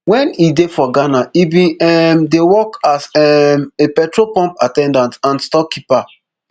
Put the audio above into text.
wen e dey for ghana e bin um dey work as um a petrol pump at ten dant and storekeeper